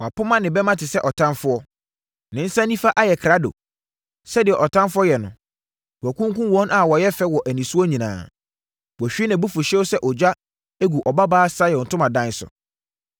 Wapoma ne bɛmma te sɛ ɔtamfoɔ; ne nsa nifa ayɛ krado. Sɛdeɛ ɔtamfoɔ yɛ no, wakunkum wɔn a wɔyɛ fɛ wɔ anisoɔ nyinaa; wahwie nʼabufuhyeɛ sɛ ogya agu Ɔbabaa Sion ntomadan so.